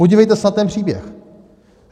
Podívejte se na ten příběh.